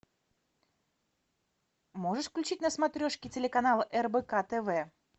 можешь включить на смотрешке телеканал рбк тв